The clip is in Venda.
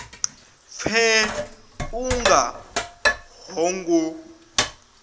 pfe u nga ho ngo